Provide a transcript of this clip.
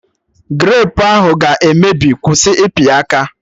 Grapu ahụ ga-emebi, kwụsị ịpị ya aka!